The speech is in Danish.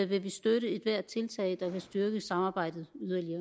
vi støtte ethvert tiltag der yderligere kan styrke samarbejdet